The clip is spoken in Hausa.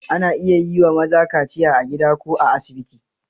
Ana iya yi wa maza kaciya a gida ko a asibiti.